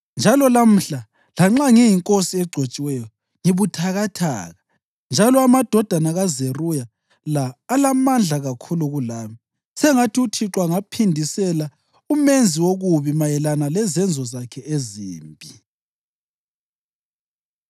Njalo lamhla, lanxa ngiyinkosi egcotshiweyo, ngibuthakathaka, njalo amadodana kaZeruya la alamandla kakhulu kulami. Sengathi uThixo angaphindisela umenzi wokubi mayelana lezenzo zakhe ezimbi!”